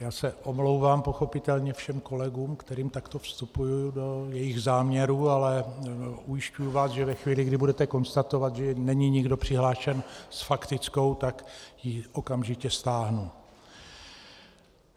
Já se omlouvám pochopitelně všem kolegům, kterým takto vstupuji do jejich záměrů, ale ujišťuji vás, že ve chvíli, kdy budete konstatovat, že není nikdo přihlášen s faktickou, tak ji okamžitě stáhnu.